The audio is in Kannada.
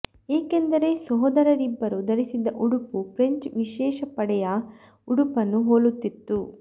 ಏಕೆಂದರೆ ಸಹೋದರರಿಬ್ಬರು ಧರಿಸಿದ್ದ ಉಡುಪು ಫ್ರೆಂಚ್ ವಿಶೇಷ ಪಡೆಯ ಉಡುಪನ್ನು ಹೋಲುತ್ತಿತ್ತು